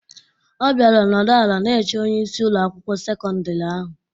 Ọ bịara nọdụ ala na-eche onyeisi Ụlọ akwụkwọ sekọndrị ahụ.